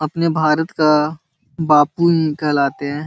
अपने भारत का बापू उम्म कहलाते हैं।